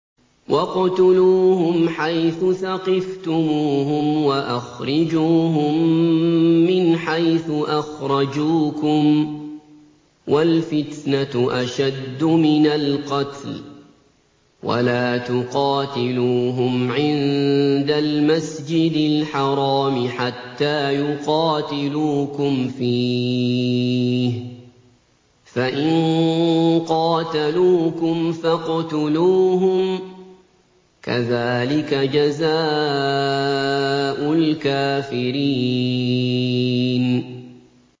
وَاقْتُلُوهُمْ حَيْثُ ثَقِفْتُمُوهُمْ وَأَخْرِجُوهُم مِّنْ حَيْثُ أَخْرَجُوكُمْ ۚ وَالْفِتْنَةُ أَشَدُّ مِنَ الْقَتْلِ ۚ وَلَا تُقَاتِلُوهُمْ عِندَ الْمَسْجِدِ الْحَرَامِ حَتَّىٰ يُقَاتِلُوكُمْ فِيهِ ۖ فَإِن قَاتَلُوكُمْ فَاقْتُلُوهُمْ ۗ كَذَٰلِكَ جَزَاءُ الْكَافِرِينَ